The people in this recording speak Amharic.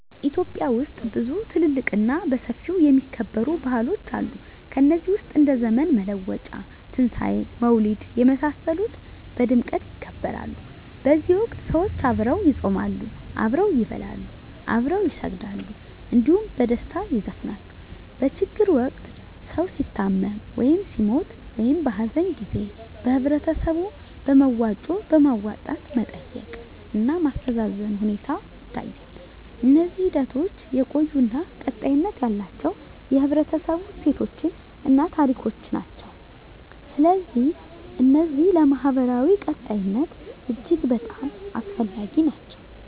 ኢትዮጵያ ውስጥ ብዙ ትልልቅ እና በሰፊው የሚከበሩ ባህሎች አሉ ከነዚህ ውስጥ እንደ ዘመን መለወጫ; ትንሣኤ; መውሊድ የመሳሰሉት በድምቀት ይከበራሉ በዚህ ወቅት ሰዎች አብረው ይጾማሉ፣ አብረው ይበላሉ፣ አብረው ይሰግዳሉ እንዲሁም በደስታ ይዘፍናሉ። በችግር ወቅት ሰዉ ሲታመም ወይም ሲሞት(በሀዘን) ጊዜ በህበረተሰቡ በመዋጮ በማዋጣት መጠየቅ እና ማስተዛዘን ሁኔታ ይታያል። እነዚህ ሂደቶች የቆዩ እና ቀጣይነት ያላቸው የህብረተሰቡ እሴቶችን እና ታሪኮችን ናቸው። ስለዚህ እነዚህ ለማህበራዊ ቀጣይነት አስፈላጊ ናቸው